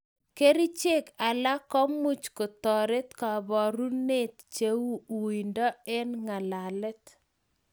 Kerchek alak kumuch kotaret kaparunet cheu wuindo eng' ng'alalet